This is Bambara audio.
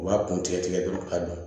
U b'a kun tigɛ tigɛ dɔrɔn ka don